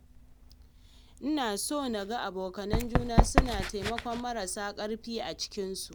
Ina so naga abokanan juna suna taimakon marasa ƙarfi a cikinsu.